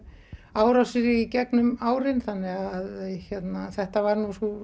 árásir í gegnum árin þannig að þetta var nú sú